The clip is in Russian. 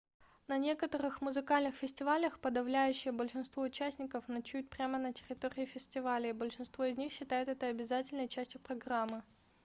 на некоторых музыкальных фестивалях подавляющее большинство участников ночуют прямо на территории фестиваля и большинство из них считают это обязательной частью программы